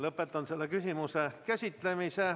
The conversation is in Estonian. Lõpetan selle küsimuse käsitlemise.